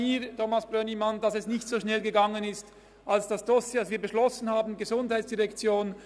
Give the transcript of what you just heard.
Dass es nicht so schnell gegangen ist, Thomas Brönnimann, liegt schon auch an mir.